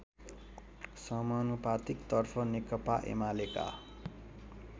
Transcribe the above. समानुपातिक तर्फ नेकपाएमालेका